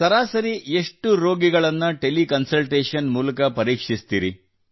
ಸರಾಸರಿ ಎಷ್ಟು ರೋಗಿಗಳನ್ನು ಟೆಲಿ ಕನ್ಸಲ್ಟೇಶನ್ ಮೂಲಕ ಪರೀಕ್ಷಿಸುತ್ತೀರಿ